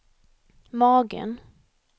magen